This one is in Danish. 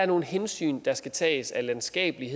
nogle hensyn der skal tages af landskabelig